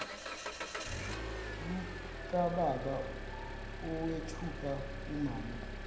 lukababa owethuka umame